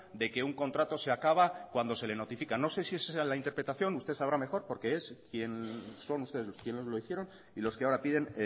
de que un contrato se acaba cuando se le notifica no sé si esa la interpretación usted sabrá mejor porque fueron ustedes quienes lo hicieron y los que ahora piden